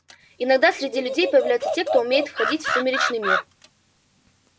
иногда среди людей появляются те кто умеет входить в сумеречный мир